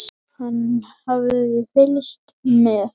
Hann hafði fylgst með